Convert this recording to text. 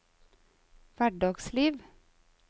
hverdagsliv